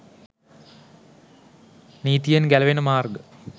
නීතියෙන් ගැලවෙන මාර්ග